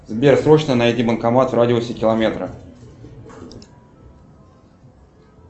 сбер срочно найди банкомат в радиусе километра